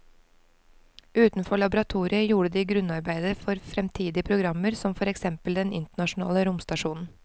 Utenfor laboratoriet gjorde de grunnarbeidet for fremtidige programmer som for eksempel den internasjonale romstasjonen.